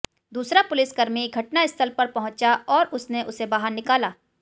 दूसरा पुलिसकर्मी घटनास्थल पर पहुंचा और उसने उसे बाहर निकाला